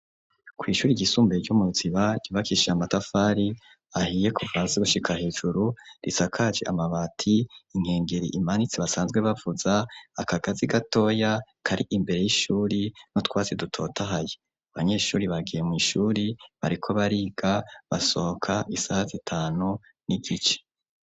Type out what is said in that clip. Kw'ishuri ryisumbuye ryo mu ruziba ryubakishie amatafari ahiye kuvazi gushika hejuru risakaci amabati inkengeri imanitse basanzwe bavuza akagazi gatoya kari imbere y'ishuri no twazi dutotahaye abanyeshuri bagiye mu ishuri bariko bariga basohoka isaha zi tanu n'igice.